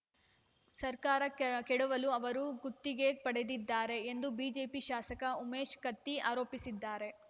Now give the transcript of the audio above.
ಸರ್ಕಾರ ಕೆ ಕೆಡವಲು ಅವರು ಗುತ್ತಿಗೆ ಪಡೆದಿದ್ದಾರೆ ಎಂದು ಬಿಜೆಪಿ ಶಾಸಕ ಉಮೇಶ್‌ ಕತ್ತಿ ಆರೋಪಿಸಿದ್ದಾರೆ